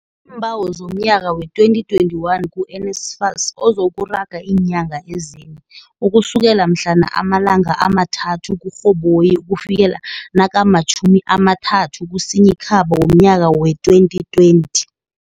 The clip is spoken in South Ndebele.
iimbawo zomnyaka wee-2021 ku-NSFAS ozo kuraga iinyanga ezine, ukusukela mhlana ama-3 kuRhoboyi ukufikela nakama-30 kuSinyikhaba womnyaka wee-2020.